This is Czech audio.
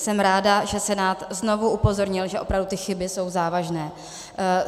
Jsem ráda, že Senát znovu upozornil, že opravdu ty chyby jsou závažné.